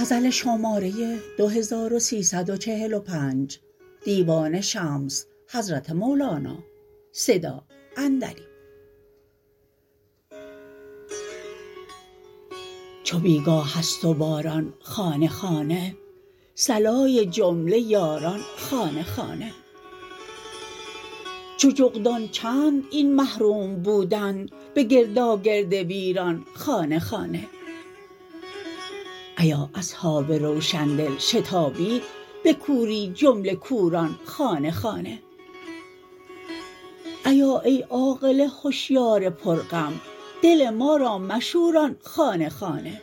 چو بی گاه است و باران خانه خانه صلای جمله یاران خانه خانه چو جغدان چند این محروم بودن به گرداگرد ویران خانه خانه ایا اصحاب روشن دل شتابید به کوری جمله کوران خانه خانه ایا ای عاقل هشیار پرغم دل ما را مشوران خانه خانه